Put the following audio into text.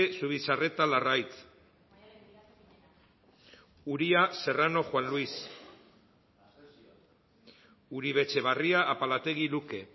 zubizarreta larraitz uria serrano juan luis uribe etxebarria apalategi luke